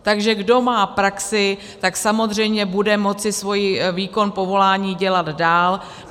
Takže kdo má praxi, tak samozřejmě bude moci svůj výkon povolání dělat dál.